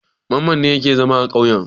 Mamman ne yake zama a ƙauye.